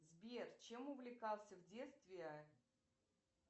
сбер чем увлекался в детстве